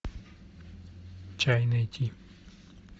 чай найти